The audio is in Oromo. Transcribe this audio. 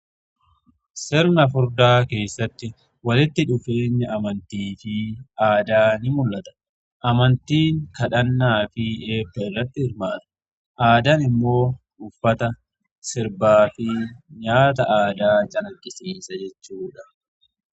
Sirna fuudhaa keessatti walitti dhufeenya amantii fi aadaa mul'ata. Amantii kadhannaa fi eebbarratti hirmaatu. Aadaan immoo uffata sirbaa fi nyaata aadaa calaqqisiisa jechuudha.